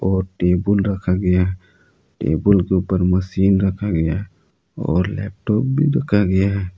वो टेबुल रखा गया है टेबुल के ऊपर मशीन रखा गया है और लैपटॉप भी रखा गया है।